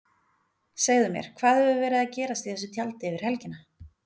Segðu mér, hvað hefur verið að gerast í þessu tjaldi yfir helgina?